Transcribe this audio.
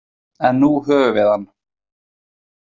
En nú höfum við hann.